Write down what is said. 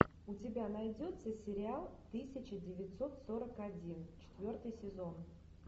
у тебя найдется сериал тысяча девятьсот сорок один четвертый сезон